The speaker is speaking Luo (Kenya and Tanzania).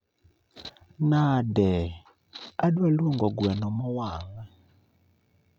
Nade? Adwa luongo gweno mowang'